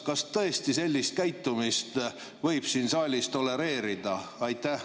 Kas tõesti sellist käitumist võib siin saalis tolereerida?